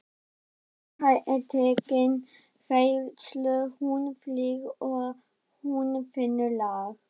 Heltekin hræðslu hún flýr er hún finnur lag.